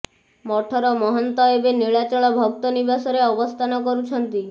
ମଠର ମହନ୍ତ ଏବେ ନୀଳାଚଳ ଭକ୍ତ ନିବାସରେ ଅବସ୍ଥାନ କରୁଛନ୍ତି